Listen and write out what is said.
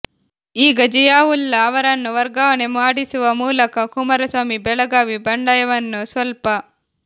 ಈಗ ಜಿಯಾವುಲ್ಲಾ ಅವರನ್ನು ವರ್ಗಾವಣೆ ಮಾಡಿಸುವ ಮೂಲಕ ಕುಮಾರಸ್ವಾಮಿ ಬೆಳಗಾವಿ ಬಂಡಾಯವನ್ನು ಸ್ವಲ್ಪ